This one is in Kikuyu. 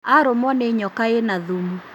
Arũmwo nĩ nyoka ĩna thumu